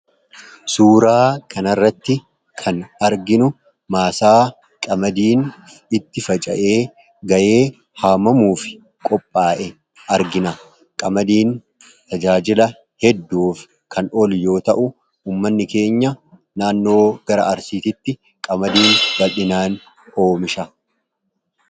Suuraa kanarratti kan arginu maasaa qamadiin itti faca'e ga'ee haamamuufi qophaa'e argina . Qamadiin tajaajila hedduuf kan oolu yoo ta'u uummanni keenya naannoo gara arsiititti qamadiin baldhinaan oomisha.